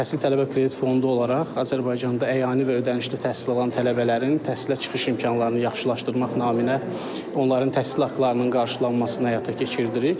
Təhsil Tələbə Kredit Fondu olaraq Azərbaycanda əyani və ödənişli təhsil alan tələbələrin təhsilə çıxış imkanlarını yaxşılaşdırmaq naminə onların təhsil haqlarının qarşılanmasını həyata keçirtdirik.